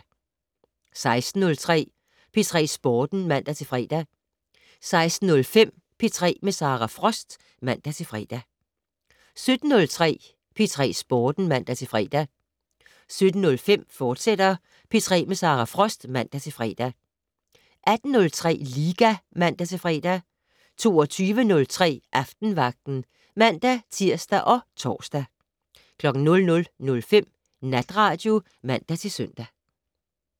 16:03: P3 Sporten (man-fre) 16:05: P3 med Sara Frost (man-fre) 17:03: P3 Sporten (man-fre) 17:05: P3 med Sara Frost, fortsat (man-fre) 18:03: Liga (man-fre) 22:03: Aftenvagten (man-tir og tor) 00:05: Natradio (man-søn)